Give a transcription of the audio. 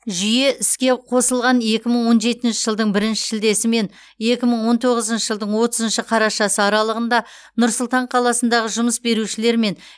жүйе іске қосылған екі мың он жетінші жылдың бірінші шілдесі мен екі мың он тоғызыншы жылдың отызыншы қарашасы аралығында нұр сұлтан қаласындағы жұмыс берушілер мен